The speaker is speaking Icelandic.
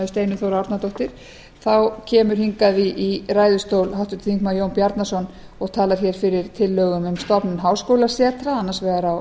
steinunn þóra árnadóttir þá kemur hingað í ræðustól háttvirtur þingmaður jón bjarnason og talar fyrir tillögum um stofnun háskólasetra annars vegar á